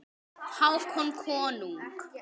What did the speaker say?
Hákon konung.